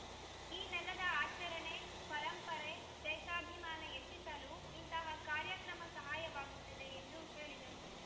ಈ ನೆಲದ ಆಚರಣೆ ಪರಂಪರೆ ದೇಶಾಭಿಮಾನ ಹೆಚ್ಚಿಸಲು ಇಂತಹ ಕಾರ್ಯಕ್ರಮ ಸಹಾಯಕವಾಗುತ್ತದೆ ಎಂದು ಹೇಳಿದರು